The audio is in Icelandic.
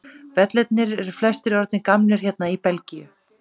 Vellirnir eru flestir orðnir gamlir hérna í Belgíu.